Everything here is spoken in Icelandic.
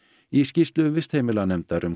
í skýrslu vistheimilanefndar um